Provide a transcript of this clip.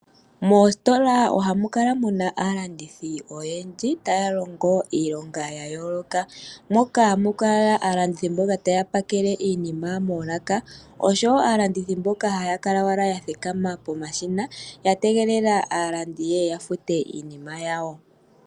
Moositola ohamu kala aalandithi oyendji taya longo iilonga ya yooloka. Ohamu kala mboka taya longo moolaka taya pakele iinima oshowo mboka hata kala ya thikama pomashina ya tegelela aantu yeye ya fute iinima yawo.